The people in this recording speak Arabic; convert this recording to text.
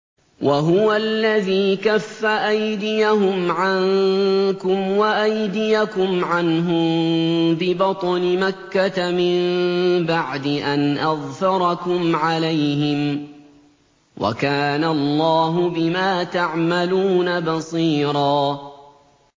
وَهُوَ الَّذِي كَفَّ أَيْدِيَهُمْ عَنكُمْ وَأَيْدِيَكُمْ عَنْهُم بِبَطْنِ مَكَّةَ مِن بَعْدِ أَنْ أَظْفَرَكُمْ عَلَيْهِمْ ۚ وَكَانَ اللَّهُ بِمَا تَعْمَلُونَ بَصِيرًا